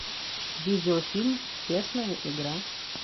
видеофильм честная игра